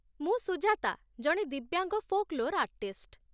ମୁଁ ସୁଜାତା, ଜଣେ ଦିବ୍ୟାଙ୍ଗ ଫୋକ୍‌ଲୋର୍ ଆର୍ଟିଷ୍ଟ୍ ।